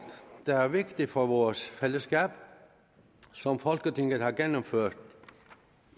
der er vigtigt for vores fællesskab som folketinget har gennemført